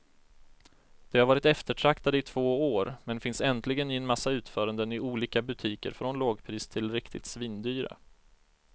De har varit eftertraktade i två år, men finns äntligen i en massa utföranden i olika butiker från lågpris till riktigt svindyra.